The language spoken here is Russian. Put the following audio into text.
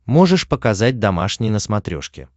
можешь показать домашний на смотрешке